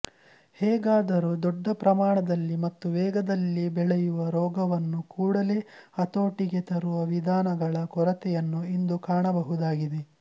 ಹೇಗೆಯಾದರೂ ದೊಡ್ಡ ಪ್ರಮಾಣದಲ್ಲಿ ಮತ್ತು ವೇಗದಲ್ಲಿ ಬೆಳೆಯುವ ರೋಗವನ್ನು ಕೂಡಲೇ ಹತೋಟಿಗೆ ತರುವ ವಿಧಾನಗಳ ಕೊರತೆಯನ್ನು ಇಂದು ಕಾಣಬಹುದಾಗಿದೆ